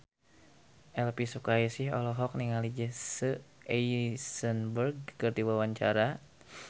Elvi Sukaesih olohok ningali Jesse Eisenberg keur diwawancara